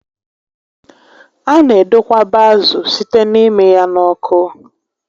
A na edokwaba ázụ site n'ịmị ya n'oku